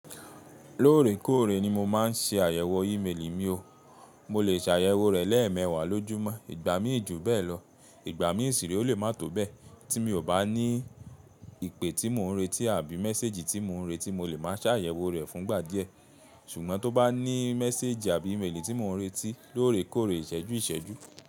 Lóòrèkóòrè ni mo máa ń ṣe àyẹ̀wò ímeèlì mi o, mo lè ṣe àyẹ̀wò rẹ̀ lẹ́ẹ̀mẹwàá lójúmọ́, ìgbà mí jú bẹ́ẹ̀ lọ, ìgbà mí sire ó lè má tó bẹ́ẹ̀ tí mi ò bá ní ìpè tí mò ń retí àbí mẹséjì tí mò ń retí mo lè má ṣàyẹ̀wò rẹ̀ fún ìgbà díẹ̀, ṣùgbọ́n tó bá ní mẹséjì àbí ímeèlì tí mò ń retí lóòrèkóòrè ìsẹ́jú ìsẹ́jú.